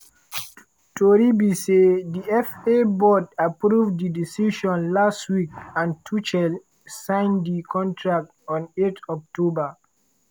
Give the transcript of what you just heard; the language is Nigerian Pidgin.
tori be say di fa board approve di decision last week and tuchel signed di contract on 8 october.